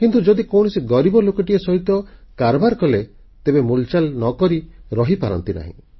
କିନ୍ତୁ ଯଦି କୌଣସି ଗରିବ ଲୋକଟି ସହିତ କାରବାର କଲେ ତେବେ ମୁଲଚାଲ ନ କରି ରହିପାରନ୍ତିନି